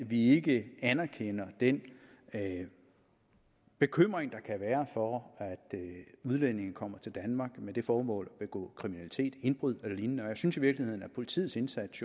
vi ikke anerkender den bekymring der kan være for at udlændinge kommer til danmark med det formål at begå kriminalitet indbrud eller lignende og jeg synes i virkeligheden at politiets indsats